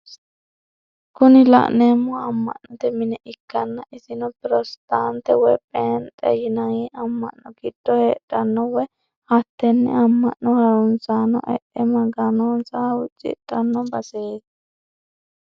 Kuni la'neemohu amma'note mine ikkanna isino protestaantete woy pheendhete yinayi amma'no giddo hedhanno woyi hattenne amma'no harunsaano e"e maganonsa huucidhanno baseeti.